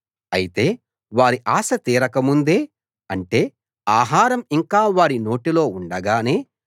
అయితే వారి ఆశ తీరక ముందే అంటే ఆహారం ఇంకా వారి నోటిలో ఉండగానే